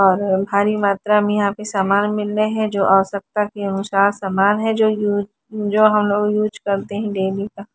और भारी मात्रा में यहां पे सामान मिल रहे हैं जो आवश्यकता के अनुसार सामान है जो यू जो हम लोग यूज करते हैं डेली का।